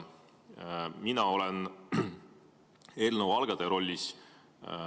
Mina olen eelnõu algataja rollis.